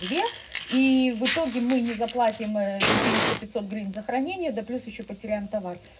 две и в итоге мы не заплатим четыреста пятьсот гривен за хранение да плюс ещё потеряем товар